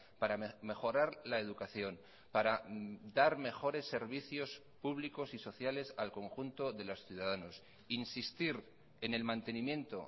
para mejorar la educación para dar mejores servicios públicos y sociales al conjunto de los ciudadanos insistir en el mantenimiento